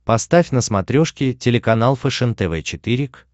поставь на смотрешке телеканал фэшен тв четыре к